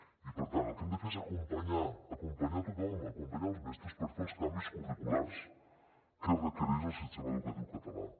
i per tant el que hem de fer és acompanyar acompanyar tothom acompanyar els mestres per fer els canvis curriculars que requereix el sistema educatiu català